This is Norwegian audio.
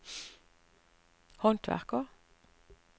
håndverker